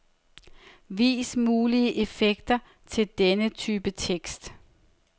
Vis mulige effekter til denne type tekst.